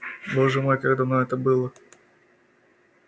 боже мой как давно это было